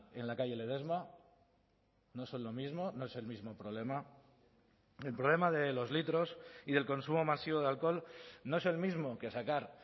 en la calle ledesma no son lo mismo no es el mismo problema el problema de los litros y del consumo masivo de alcohol no es el mismo que sacar